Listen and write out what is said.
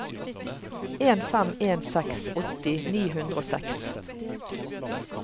en fem en seks åtti ni hundre og seks